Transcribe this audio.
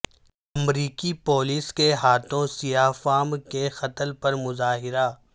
امریکی پولیس کے ہاتھوں سیاہ فام کے قتل پرمظاہرہ